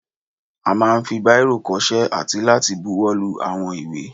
A máà ń fi báìrò kọṣẹ́ àti láti buwọ́lu àwọn ìwé.